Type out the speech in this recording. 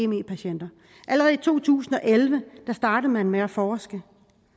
me patienter allerede i to tusind og elleve startede man med at forske